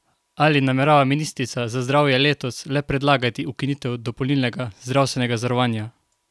Ali namerava ministrica za zdravje letos le predlagati ukinitev dopolnilnega zdravstvenega zavarovanja?